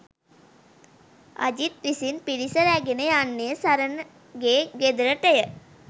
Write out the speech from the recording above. අජිත් විසින් පිරිස රැගෙන යන්නේ සරණගේ ගෙදරටය